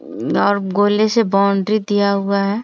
और गोले से बाउंड्री दिया हुआ है।